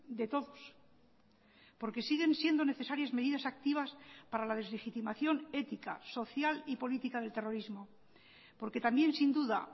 de todos porque siguen siendo necesarias medidas activas para la deslegitimación ética social y política del terrorismo porque también sin duda